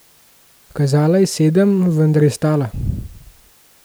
Kazala je sedem, vendar je stala.